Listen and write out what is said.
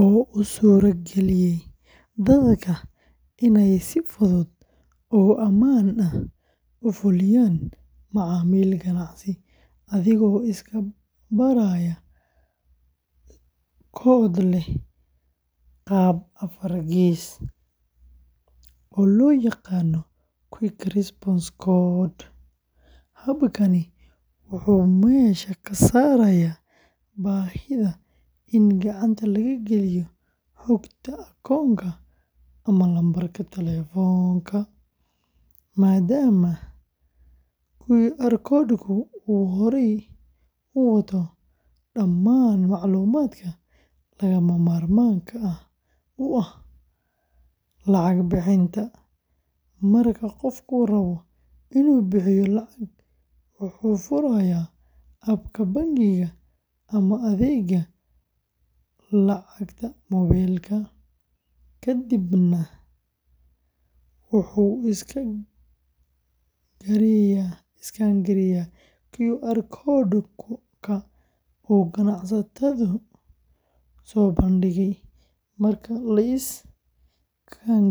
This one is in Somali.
oo u suurageliya dadka inay si fudud oo ammaan ah u fuliyaan macaamil ganacsi adigoo iska baraya koodh leh qaab afar gees ah, oo loo yaqaan Quick Response Code. Habkani wuxuu meesha ka saarayaa baahida in gacanta laga geliyo xogta akoonka ama lambarka taleefanka, maadaama QR code-ku uu horey u wato dhammaan macluumaadka lagama maarmaanka u ah lacag bixinta. Marka qofku rabo inuu bixiyo lacag, wuxuu furayaa abka bangiga ama adeegga lacagta mobile-ka, kadibna wuxuu iskaan gareeyaa QR code-ka uu ganacsaduhu soo bandhigay. Marka la iskaan gareeyo.